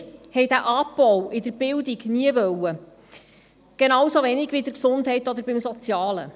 Wir haben diesen Abbau in der Bildung nie gewollt, genauso wenig bei der Gesundheit oder beim Sozialen.